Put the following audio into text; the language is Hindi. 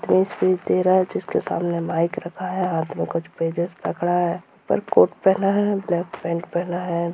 ये स्पीज दे रहा है जिसके सामने माइक रखा है हाथ में कुछ पेजेस पकड़ा है और कोट पेहना और ब्लैक पैंट पेहना है।